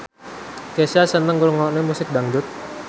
Kesha seneng ngrungokne musik dangdut